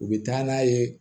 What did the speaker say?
U bɛ taa n'a ye